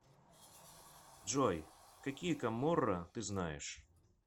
джой какие каморра ты знаешь